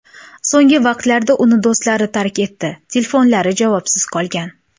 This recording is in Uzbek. So‘nggi vaqtlarda uni do‘stlari tark etdi, telefonlari javobsiz qolgan.